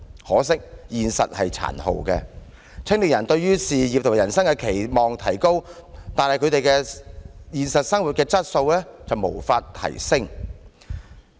可惜，現實卻是殘酷的，青年人對事業和人生的期望提高，但他們的現實生活質素卻是無法提升。